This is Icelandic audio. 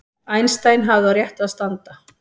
Einstein hafði á réttu að standa